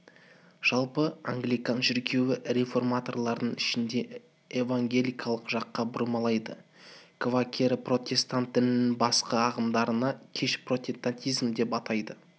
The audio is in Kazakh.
жалпы англикан шіркеуі реформаторлардың ішінде евангелиялық жаққа бұрмалайды квакеры протестант дінінің басқа ағымдарын кеш протестантизм деп атайды